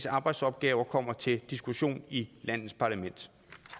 arbejdsopgaver kommer til diskussion i landets parlament